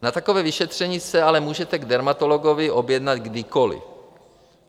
Na takové vyšetření se ale můžete k dermatologovi objednat kdykoli.